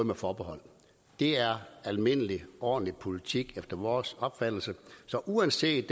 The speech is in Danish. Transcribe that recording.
et forbehold det er almindelig ordentlig politik efter vores opfattelse så uanset